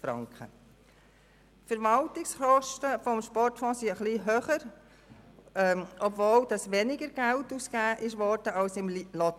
Die Verwaltungskosten des Sportfonds sind ein bisschen höher, obwohl etwas weniger Geld als im Lotteriefonds ausgegeben wurde.